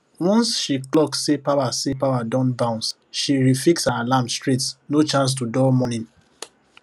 once she clock say power say power don bounce she refix her alarm straight no chance to dull morning